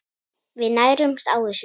Við nærumst á þessu.